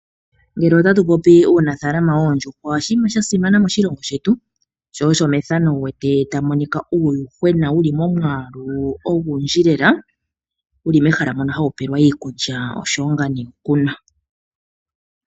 Ngele otatu popi uunafalama wondjuhwa oshinima shasimana moshilongo shetu, sho osho methano ndika wuwete tamu monika uuyuhwena wuli momwaalu ongundji lela wuli mehala mono hawu peelwa iikulya oshowo nga nee okunwa.